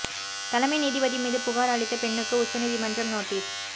தலைமை நீதிபதி மீது புகார் அளித்த பெண்ணுக்கு உச்ச நீதிமன்றம் நோட்டீஸ்